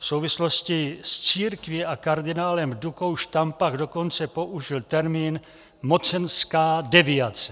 V souvislosti s církví a kardinálem Dukou Štampach dokonce použil termín "mocenská deviace".